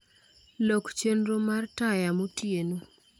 Lok chenro mar taya motieno